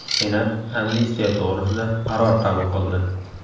Senat amnistiya to‘g‘risida qaror qabul qildi.